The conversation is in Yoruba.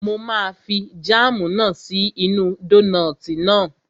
Mo máa fi jáàmù náà sí inú dónààtì náà